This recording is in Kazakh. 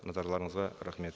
назарларыңызға рахмет